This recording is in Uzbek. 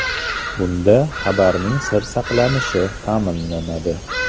Bunda xabarning sir saqlanishi ta’minlanadi.